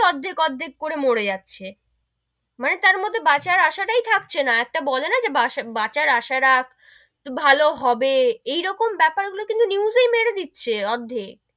অর্ধেক অর্ধেক করে মোর যাচ্ছে, মানে তার মধ্যে বাঁচার আসা তাই থাকে না, একটা বলে না বাঁচার আসা রাখ, তো ভালো হবে এরকম বেপার গুলো কিন্তু news এই মেরে দিচ্ছে অর্ধেক,